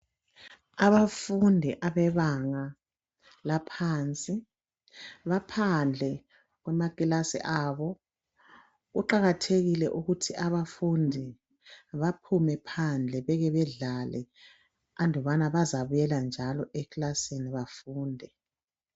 Abafundi abebanga laphansi baphandle kwamakilasi abo kuqakathekile ukuthi abafundi baphume phandle beke bedlale andubana bazabuyela njalo ekilasini bafunde.